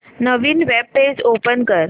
नवीन web page open कर